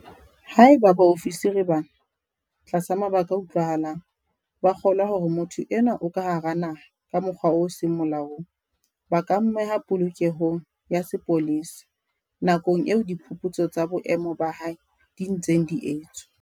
Haeba baofisiri bana, tlasa mabaka a utlwahalang, ba kgolwa hore motho enwa o ka hara naha ka mokgwa o seng molaong, ba ka mmeha polokelong ya sepolesa nakong eo diphuputso tsa boemo ba hae di ntseng di etswa.